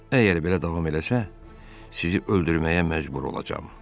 Əgər belə davam eləsə, sizi öldürməyə məcbur olacam.